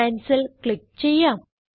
cancel click ചെയ്യാം